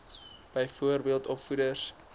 byvoorbeeld opvoeders